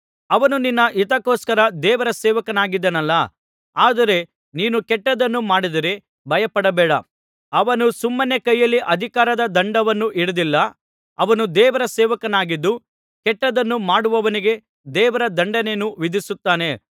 ಅವನು ನಿನ್ನ ಹಿತಕ್ಕೋಸ್ಕರ ದೇವರ ಸೇವಕನಾಗಿದ್ದಾನಲ್ಲಾ ಆದರೆ ನೀನು ಕೆಟ್ಟದ್ದನ್ನು ಮಾಡಿದರೆ ಭಯಪಡಬೇಕು ಅವನು ಸುಮ್ಮನೆ ಕೈಯಲ್ಲಿ ಅಧಿಕಾರದ ದಂಡವನ್ನು ಹಿಡಿದಿಲ್ಲ ಅವನು ದೇವರ ಸೇವಕನಾಗಿದ್ದು ಕೆಟ್ಟದ್ದನ್ನು ಮಾಡುವವನಿಗೆ ದೇವರ ದಂಡನೆಯನ್ನು ವಿಧಿಸುತ್ತಾನೆ